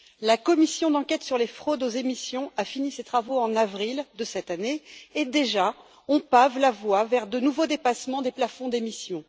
La commission d'enquête sur les fraudes aux émissions a fini ses travaux en avril de cette année et, déjà, on pave la voie vers de nouveaux dépassements des plafonds d'émission.